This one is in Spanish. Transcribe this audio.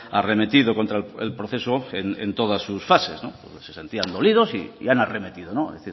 arremetido contra el proceso en todas sus fases se sentían dolidos y han arremetido es